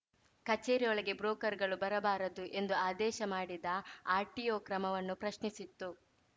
ಕಚೇರಿ ಒಳಗೆ ಬ್ರೋಕರ್‌ಗಳು ಬರಬಾರದು ಎಂದು ಆದೇಶ ಮಾಡಿದ ಆರ್‌ಟಿಒ ಕ್ರಮವನ್ನು ಪ್ರಶ್ನಿಸಿತ್ತು